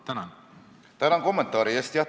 Tänan kommentaari eest!